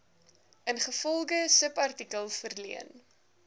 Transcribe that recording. ingevolge subartikel verleen